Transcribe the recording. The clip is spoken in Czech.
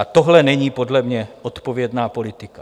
A tohle není podle mě odpovědná politika.